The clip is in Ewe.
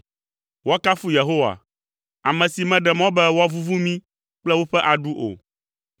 Woakafu Yehowa, ame si meɖe mɔ be woavuvu mí kple woƒe aɖu o.